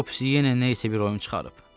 Topsi yenə nə isə bir oyun çıxarıb.